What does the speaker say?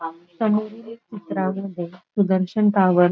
चित्रामध्ये सुदर्शन टॉवर --